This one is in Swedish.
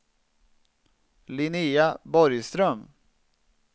Linnéa Borgström